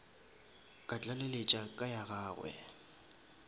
ka tlaleletša ka ya gagwe